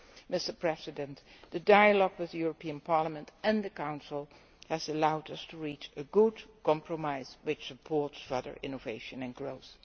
Mr President, the dialogue with Parliament and the Council has allowed us to reach a good compromise which supports further innovation and growth.